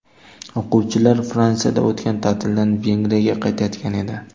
O‘quvchilar Fransiyada o‘tgan ta’tildan Vengriyaga qaytayotgan edi.